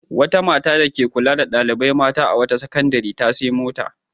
Wata mata dake kula da ɗalibai mata a wata sakandare ta sayi mota.